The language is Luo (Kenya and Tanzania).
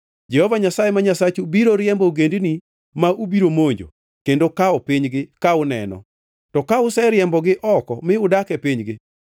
Jehova Nyasaye ma Nyasachu biro riembo ogendini ma ubiro monjo kendo kawo pinygi ka uneno. To ka useriembogi oko mi udak e pinygi,